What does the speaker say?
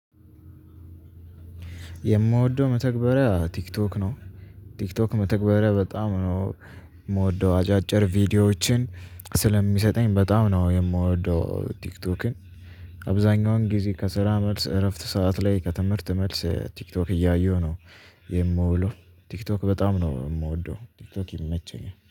የምወደው መተግበሪያ ቲክቶክ ነው ቲክቶክ መተግበሪያ በጣም ነው የምወደው አጫጭር ቪዲዮዎችን ስለሚሰጠኝ በጣም ነው የምወደው ቲክቶክን። አብዛኛውን ጊዜ ከስራ መልስ እረፍት ሰዓት ላይ ከትምህርት መልስ ቲክቶክ እያየሁ ነው የምውለው። ቲክቶክ በጣም ነው የምወደው ቲክቶክ ይመቸኛል